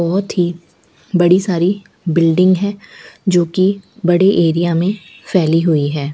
बहोत ही बड़ी सारी बिल्डिंग है जोकि बड़े एरिया में फैली हुई है।